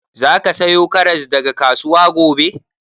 Za ka sayo karas daga kasuwa gobe?